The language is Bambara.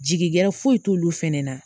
Jigi gɛrɛ foyi t'olu fɛnɛ na